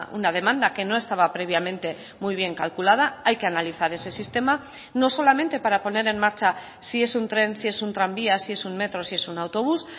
una demanda que no estaba previamente muy bien calculada hay que analizar ese sistema no solamente para poner en marcha si es un tren si es un tranvía si es un metro si es un autobús